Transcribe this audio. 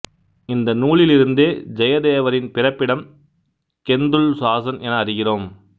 இந்த நூலிலிருந்தே ஜெயதேவரின் பிறப்பிடம் கெந்துள் சாசன் என அறிகிறோம்